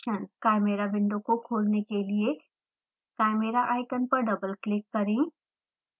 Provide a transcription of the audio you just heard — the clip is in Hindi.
chimera विंडो को खोलने के लिए chimera आइकॉन पर डबल क्लिक करें